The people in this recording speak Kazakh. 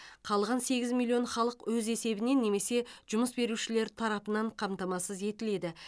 қалған сегіз миллион халық өз есебінен немесе жұмыс берушілер тарапынан қамтамасыз етіледі